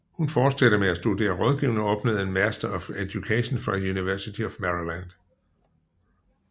Hun fortsatte med at studere rådgivning og opnåede en Master of Education fra University of Maryland